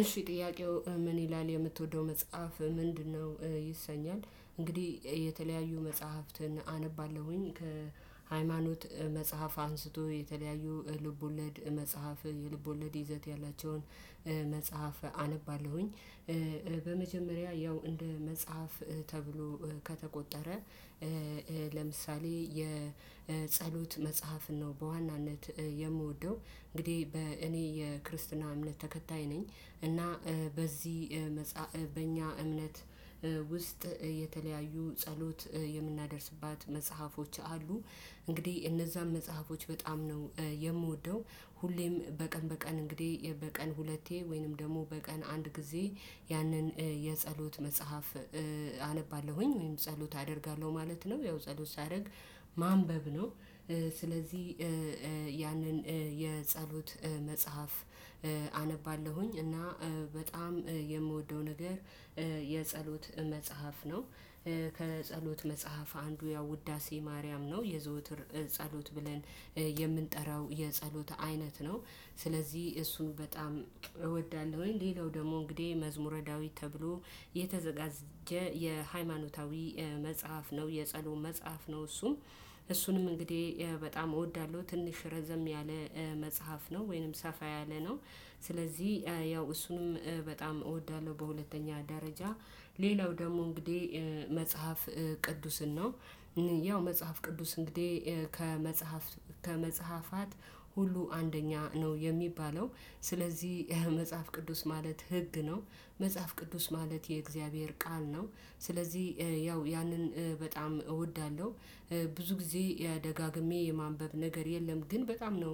እሺ ጥያቄው ምን ይላል የምትወደው መጽሐፍ ምንድነው? ይሰኛል እንግዲህ የተለያዩ መጽሐፍትን አነባለሁኝ ከሃይማኖት መጽሐፍ አንስቶ የተለያዩ ልቦለድ መጽሐፍ የልቦለድ ይዘት ያላቸውን መጽሐፍ አነባለሁኝ። በመጀመሪያ ያው እንደ መጽሐፍ ተብሎ ከተቆጠረ ለምሳሌ የጸሎት መጽሐፍን ነው በዋናነት የምወደው እንግዲህ በእኔ የክርስትና እምነት ተከታይ ነኝ። እና በዚህ መጽሐፍ በእኛ እምነት ውስጥ የተለያዩ ጸሎት የምናደርስባት መጽሐፎች አሉ። እንግዲህ እነዛን መጽሐፎች በጣም ነው የምወደው። ሁሌም በቀን በቀን እንግዲህ በቀን ሁለቴ ወይንም ደግሞ በቀን አንድ ጊዜ ያንን የጸሎት መጽሐፍ አነባለሁኝ ወይም ጸሎት አደርጋለሁ ማለት ነው። ያው ጸሎት ሳደርግ ማንበብ ነው። ስለዚህ ያንን የጸሎት መጽሐፍ አነባለሁኝ እና በጣም የምወደው ነገር የጸሎት መጽሐፍ ነው። ከጸሎት መጽሐፍ አንዱ ያው ውዳሴ ማርያም ነው የዘውትር ጸሎት ብለን የምንጠራው የጸሎት አይነት ነው። ስለዚህ እሱን በጣም እወዳለሁኝ። ሌላው ደግሞ እንግዲህ መዝሙረ ዳዊት ተብሎ የተዘጋጀ የሃይማኖታዊ መጽሐፍ ነው የጸሎት መጽሐፍ ነው። እሱም እሱንም እንግዲህ በጣም እወዳለሁ። ትንሽ ረዘም ያለ መጽሐፍ ነው ወይንም ሰፋ ያለ ነው። ስለዚህ ያው እሱንም በጣም እወዳለሁ። በሁለተኛ ደረጃ ሌላው ደግሞ እንግዲህ መጽሐፍ ቅዱስን ነው። ያው መጽሐፍ ቅዱስ እንግዲህ ከመጽሐፍ ከመጽሐፋት ሁሉ አንደኛ ነው የሚባለው ስለዚህ መጽሐፍ ቅዱስ ማለት ህግ ነው። መጽሐፍ ቅዱስ ማለት የእግዚአብሔር ቃል ነው። ስለዚህ ያው ያንን በጣም እወዳለሁ። ብዙ ጊዜ ደጋግሜ የማንበብ ነገር የለም ግን በጣም ነው